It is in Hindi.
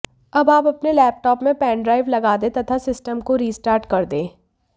अब आप अपने लैपटॉप में पेन ड्राइव लगा दें तथा सिस्टम को रिस्टार्ट कर दें